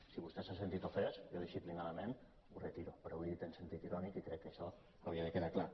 si vostè s’ha sentit ofès jo disciplinadament ho retiro però ho he dit en sentit irònic i crec que això hauria de quedar clar